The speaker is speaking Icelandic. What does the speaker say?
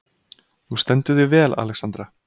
Þú stendur þig vel, Alexandra!